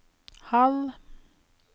halv